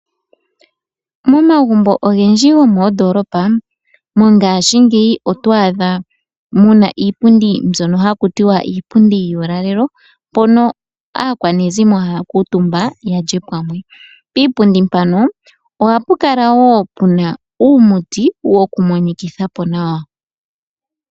Momagumbo ogendji gomoondolopa mongashingeyi oto adha muna iipundi mbyoka haku tiwa iipundi yuulalelo mpoka aakwanezimo haya kutumba ya lye pamwe, piipundi mpaka ohapu kala wo puna uumuti wokumonikitha po nawa.